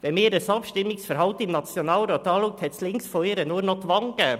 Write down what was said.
Wenn man ihr Abstimmungsverhalten im Nationalrat betrachtet, gab es links von ihr nur noch die Wand.